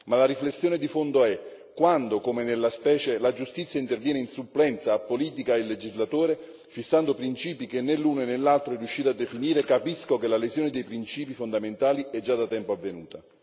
Ma la riflessione di fondo è che quando, come nella specie, la giustizia interviene in supplenza a politica e legislatore, fissando principi che né l'uno né l'altro sono riusciti a definire, capisco che la lesione dei principi fondamentali è già da tempo avvenuta.